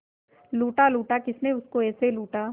लूटा लूटा किसने उसको ऐसे लूटा